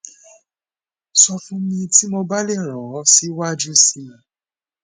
sọ fun mi ti mo ba le ran ọ siwaju sii